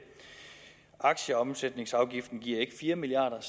aktieomsætningsafgiften giver ikke fire milliard